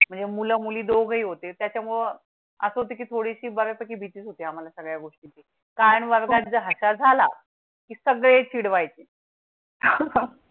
म्हणजे मुलं मुली दोघेही होते. त्याच्या मुळं असं ती थोडीशी बरी भीती होती. आम्हाला सगळ्या गोष्टी कारण वर्गात जाता झाला की सगळे चिड वायचे.